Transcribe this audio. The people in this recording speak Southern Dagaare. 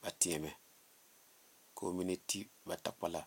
ba teɛmɛ ko'o mine ti ba takpala.